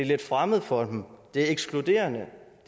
lidt fremmed for dem det er ekskluderende og